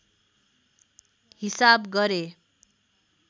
हिसाब गरे